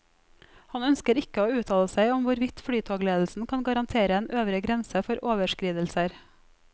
Han ønsker ikke å uttale seg om hvorvidt flytogledelsen kan garantere en øvre grense for overskridelser.